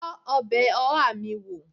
Tọ́ ọbẹ̀ oha mi wó!